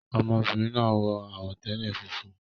Ọmọbìnrin náà wọ àwọ̀tẹ́lẹ̀ funfun